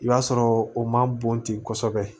I b'a sɔrɔ o man bon ten kosɛbɛ